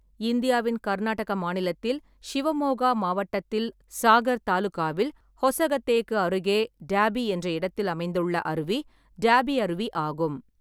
இந்தியாவின் கர்நாடக மாநிலத்தில் ஷிவமோகா மாவட்டத்தில் சாகர் தாலுகாவில் ஹொசகத்தேக்கு அருகே டப்பே என்ற இடத்தில் அமைந்துள்ள அருவி டப்பே அருவி ஆகும்.